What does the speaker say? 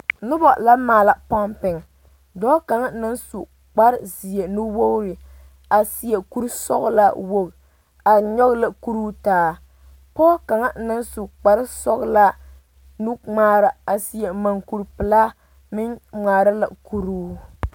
Noba la maala pɔŋpiŋ dɔɔ kaŋ naŋ su kparezeɛ nu wogre a seɛ kuresɔglaa woge are nyɔge la kuruu taa pɔge kaŋa naŋ su kpare sɔglaa nuŋmaara a seɛ mugkuri pilaa meŋ ŋmaara la kuruu.